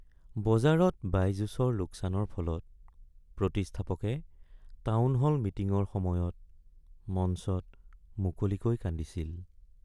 বজাৰত বাইজুছৰ লোকচানৰ ফলত প্ৰতিষ্ঠাপকে টাউনহল মিটিঙৰ সময়ত মঞ্চত মুকলিকৈ কান্দিছিল।